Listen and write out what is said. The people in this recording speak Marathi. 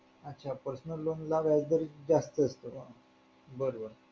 अच्छा personal loan ला व्याजदर जास्त असतो का बर बर